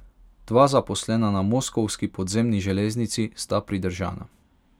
Dva zaposlena na moskovski podzemni železnici sta pridržana.